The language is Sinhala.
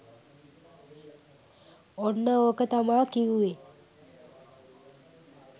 ඔන්න ඕක තමා කිව්වේ